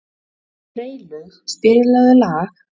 Freylaug, spilaðu lag.